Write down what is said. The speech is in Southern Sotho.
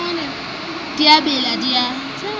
di a bela di a